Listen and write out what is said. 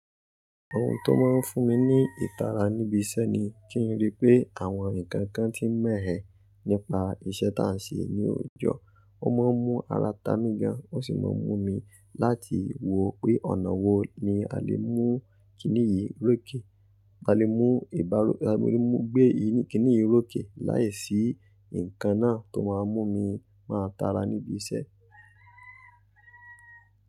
Ohun tó máa ń fún mi ní ìtara níbi iṣẹ́ ni kí n rí pé àwọn nǹkan kan ti ń mẹ ẹ́ nípa iṣẹ́ táà ń ṣe ní òòjọ́. Ó máa ń mú ara ta mí gan, ó sì máa ń mú mi láti wò pé ọ̀nà wo ni a lè mú kíní yìí rò kè. A lè mú ìbá, a lè mú gbé yìí, kíní yìí ròkè láìsí nǹkan náà tó máa mú mi máa tara níbi iṣẹ́.